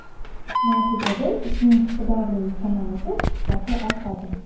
Natijada ipning tukdorligi kamayadi, sifati ortadi.